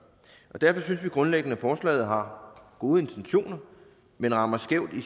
derfor synes vi grundlæggende at forslaget har gode intentioner men rammer skævt i